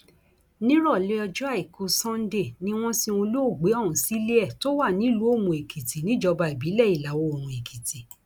nírọlẹ ọjọ àìkú sannde ni wọn sin olóògbé ọhún sílẹ ẹ tó wà nílùú òmùóèkìtì níjọba ìbílẹ ìlàoòrùn èkìtì